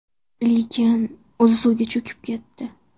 Lekin o‘zi suvga cho‘kib ketdi.